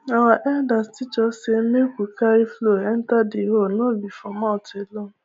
our elders teach us say make we carry flow enter the hoe no be for mouth alone